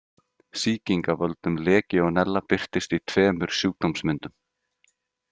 Sýking af völdum Legíónella birtist í tveimur sjúkdómsmyndum.